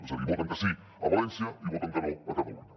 és a dir voten que sí a valència i voten que no a catalunya